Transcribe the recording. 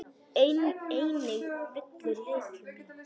Einnig villur leikjum í.